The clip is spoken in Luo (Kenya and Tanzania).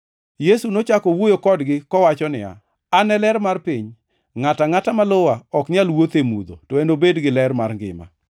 Yesu nochako owuoyo kodgi, kowacho niya, “An e ler mar piny, ngʼato angʼata ma luwa ok nyal wuotho e mudho, to enobed gi ler mar ngima.”